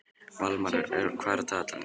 Valmar, hvað er á dagatalinu í dag?